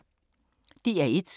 DR1